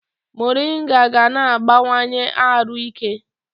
Morịnga ga na-agbanwanye arụ ike